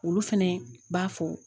Olu fɛnɛ b'a fɔ